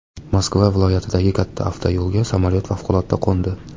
Moskva viloyatidagi katta avtoyo‘lga samolyot favqulodda qo‘ndi.